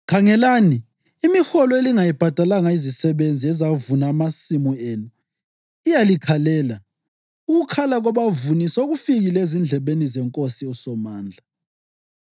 Khangelani! Imiholo elingayibhadalanga izisebenzi ezavuna amasimu enu iyalikhalela. Ukukhala kwabavuni sekufikile ezindlebeni zeNkosi uSomandla.